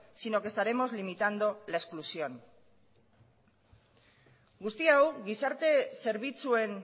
sino que estaremos limitando la exclusión guzti hau gizarte zerbitzuen